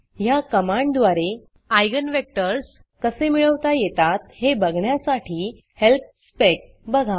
ह्या कमांडद्वारे आयजेन vectorsइगन वेकटर्स कसे मिळवता येतात हे बघण्यासाठी हेल्प specहेल्प स्पेक बघा